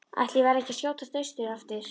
Ætli ég verði ekki að skjótast austur aftur.